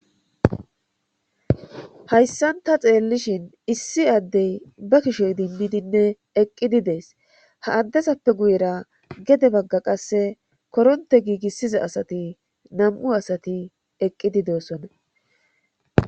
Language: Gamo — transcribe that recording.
hayssan ta xeellishin issi addey ba kushe idimmidinne eqqidi dees ha addezappe guyera gede bagga qasse koronte giigissiza asati nam'u asati eqqidi de'osona